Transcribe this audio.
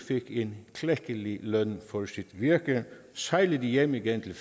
fik en klækkelig løn for sit virke og sejlede hjem igen til